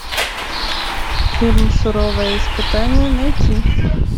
фильм суровое испытание найти